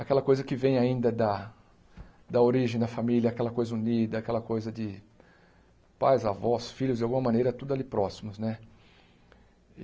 Aquela coisa que vem ainda da da origem da família, aquela coisa unida, aquela coisa de pais, avós, filhos, de alguma maneira, tudo ali próximos né.